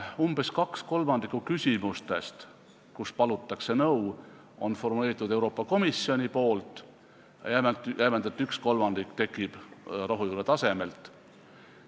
Umbes kaks kolmandikku küsimustest, kus palutakse nõu, on formuleerinud Euroopa Komisjon, jämedalt võttes üks kolmandik tekib rohujuure tasemelt.